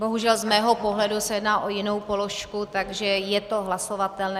Bohužel z mého pohledu se jedná o jinou položku, takže je to hlasovatelné.